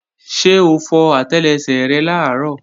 Ṣé o fọ àtẹlẹsẹ̀ rẹ làárọ̀?